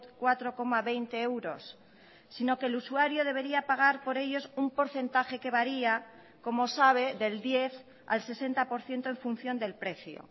cuatro coma veinte euros sino que el usuario debería pagar por ellos un porcentaje que varía como sabe del diez al sesenta por ciento en función del precio